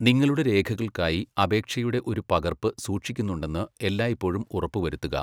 നിങ്ങളുടെ രേഖകൾക്കായി അപേക്ഷയുടെ ഒരു പകർപ്പ് സൂക്ഷിക്കുന്നുണ്ടെന്ന് എല്ലായ്പ്പോഴും ഉറപ്പുവരുത്തുക.